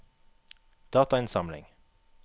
datainnsamling